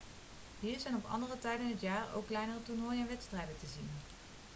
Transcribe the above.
hier zijn op andere tijden in het jaar ook kleinere toernooien en wedstrijden te zien